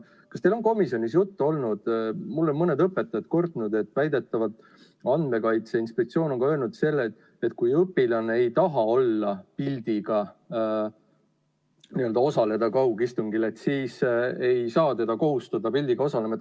Kas teil on komisjonis juttu olnud: mulle on mõni õpetaja kurtnud, et väidetavalt Andmekaitse Inspektsioon on öelnud, et kui õpilane ei taha pildiga osaleda kaugeksamil, siis ei saa teda kohustada pildiga osalema.